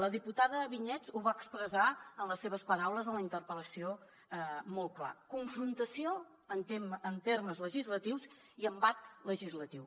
la diputada vinyets ho va expressar amb les seves paraules en la interpel·lació molt clarament confrontació en termes legislatius i embat legislatiu